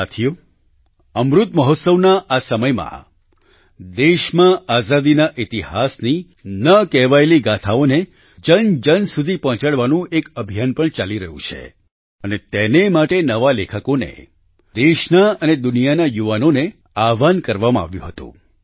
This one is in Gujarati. સાથીઓ અમૃત મહોત્સવના આ સમયમાં દેશમાં આઝાદીના ઈતિહાસની ન કહેવાયેલી ગાથાઓ ને જનજન સુધી પહોંચાડવાનું એક અભિયાન પણ ચાલી રહ્યું છે અને તેને માટે નવા લેખકોને દેશના અને દુનિયાના યુવાનોને આહ્વાન કરાવામાં આવ્યું હતું